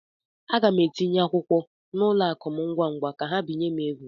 Aga m etinye akwụkwọ n'ụlọ akụ m ngwa ngwa ka ha binye m ego.